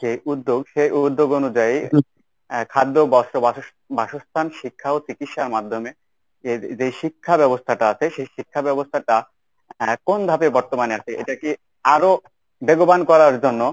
যে উদ্যোগ সেই উদ্যোগ অনুযায়ী এর খাদ্য, বস্ত্র, বাসস্থান, শিক্ষা ও চিকিৎসার মাধ্যমে এর যেই শিক্ষাব্যবস্থাটা আছে সেই শিক্ষাব্যবস্থাটা এর কোন ধাপে বর্তমানে আছে এটাকে আরো বেগবান করার জন্য